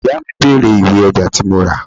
Ìyá mi bèrè ìwé ọjà tí mo ra.